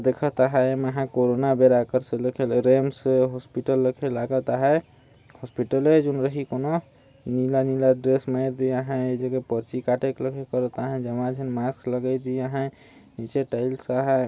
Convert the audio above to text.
देखत आहय मै ह कोरोना बेरा क्र एम्स हॉस्पिटल देखेल लागत अहय होस्पिटले में रही कोनो नीला नीला ड्रेस में भी आहय एक जगह निचे टाइल्स अहाय।